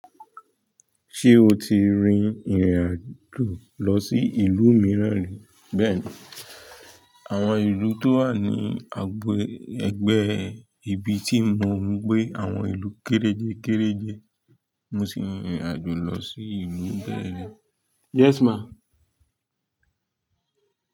Ṣé o ti rìn irin àjò lọ sí ìlú mìíràn rí? Bẹ́ẹ̀ni, àwọn ìlú tó wà ní agbo ẹgbẹ́ ibi tí mò ń gbé àwọn ìlú kéréje kéréje. Mo ti rin irin àjò lọ sí ìlú bẹ́ẹ̀ ri.